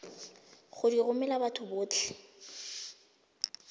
go di romela batho botlhe